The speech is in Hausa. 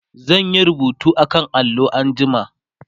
zan Yi rubutu akan allo anjima